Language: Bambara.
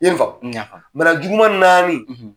I ye n faamu? N y'a faamu. Bana juguman naani,